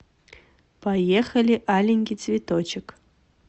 поехали аленький цветочек